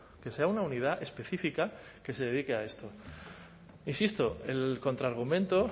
que sea una unidad específica que se dedique a esto insisto el contraargumento